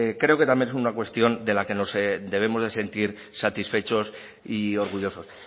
creo que también es una cuestión de la que nos debemos de sentir satisfechos y orgullosos